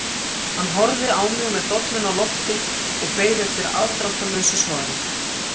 Hann horfði á mig með dolluna á lofti og beið eftir afdráttarlausu svari.